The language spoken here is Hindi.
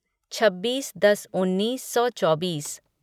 छब्बीस दस उन्नीस सौ चौबीस